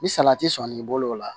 Ni salati sɔnn'i bolo o la